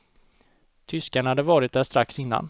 Tyskarna hade varit där strax innan.